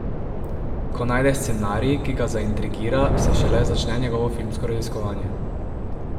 Ko najde scenarij, ki ga zaintrigira, se šele začne njegovo filmsko raziskovanje.